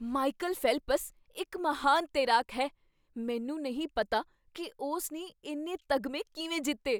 Michael Phelps ਇੱਕ ਮਹਾਨ ਤੈਰਾਕ ਹੈ। ਮੈਨੂੰ ਨਹੀਂ ਪਤਾ ਕੀ ਉਸ ਨੇ ਇੰਨੇ ਤਗਮੇ ਕਿਵੇਂ ਜਿੱਤੇ!